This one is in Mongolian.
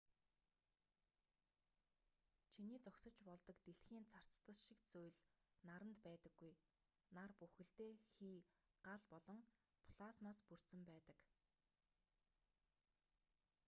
чиний зогсож болдог дэлхийн царцдас шиг зүйл наранд байдаггүй нар бүхэлдээ хий гал болон плазмаас бүрдсэн байдаг